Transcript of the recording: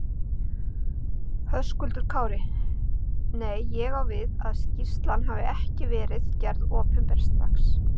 Höskuldur Kári: Nei, ég á við að skýrslan hafi ekki verið gerð opinber strax?